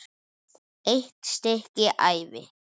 EITT STYKKI ÆVI